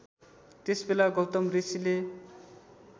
त्यसबेला गौतम ऋषिले